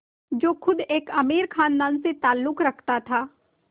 जो ख़ुद एक अमीर ख़ानदान से ताल्लुक़ रखता था